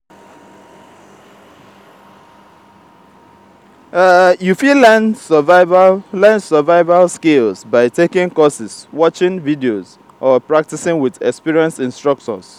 you fit learn survival learn survival skills by taking courses watching videos or practicing with experienced instructors.